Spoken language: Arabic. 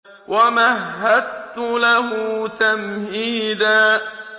وَمَهَّدتُّ لَهُ تَمْهِيدًا